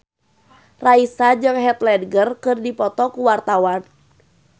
Raisa jeung Heath Ledger keur dipoto ku wartawan